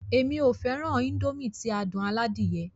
Èmi ó fẹràn Índòmí ti adùn aládìyẹ.